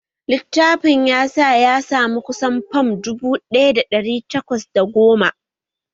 Litafin ya sa ya samu kusan fam dubu ɗaya da ɗari takwas da goma